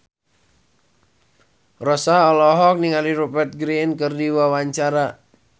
Rossa olohok ningali Rupert Grin keur diwawancara